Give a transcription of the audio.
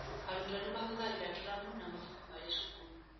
Arutwo nĩ mahũthagĩra tũramu na mabuku marĩ cukuru.